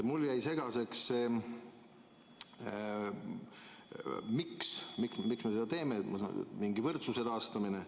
Mulle jäi segaseks see, miks me seda teeme, mingi võrdsuse taastamine.